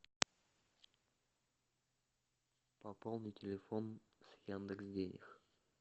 пополни телефон с яндекс денег